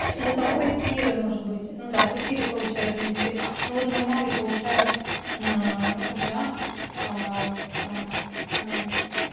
это там кассиры может быть ну да в кассиры получают в принципе ну вот мой малый получает рублях аа